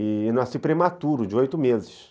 E nasci prematuro, de oito meses.